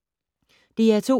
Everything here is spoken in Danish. DR2